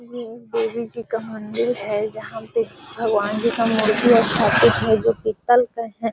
ये देवी जी का मंदिर है जहाँ पे भगवन जी का मूर्ति स्थापित है जो पीतल का है |